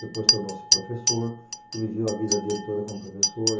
Depois tornou-se professor e viveu a vida dele toda como professor.